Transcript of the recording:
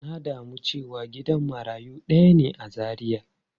Na damu cewa gidan marayu daya ne a Zaria.